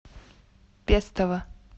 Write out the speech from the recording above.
пестово